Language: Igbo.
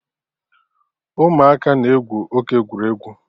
Ụmụaka na-egwu oke egwuregwu